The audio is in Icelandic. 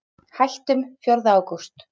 Hættum fjórða ágúst.